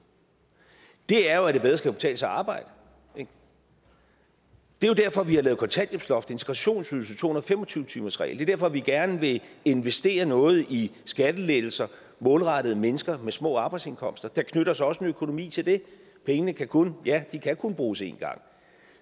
er jo at det bedre skal kunne betale sig at arbejde det er derfor vi har lavet kontanthjælpsloft integrationsydelse to hundrede og fem og tyve timersregel det er derfor vi gerne vil investere noget i skattelettelser målrettet mennesker med små arbejdsindkomster der knytter sig også en økonomi til det pengene kan kun ja bruges én gang